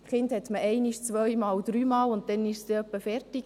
Kinder hat man einmal, zweimal, dreimal, und dann ist es einmal vorbei.